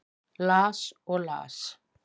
Las og las.